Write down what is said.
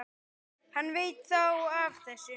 Hann veit þá af þessu?